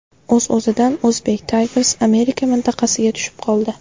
O‘z-o‘zidan Uzbek Tigers Amerika mintaqasiga tushib qoldi.